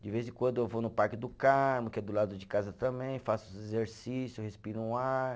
De vez em quando eu vou no Parque do Carmo, que é do lado de casa também, faço os exercícios, respiro um ar.